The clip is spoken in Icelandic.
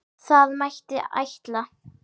Það mætti ætla.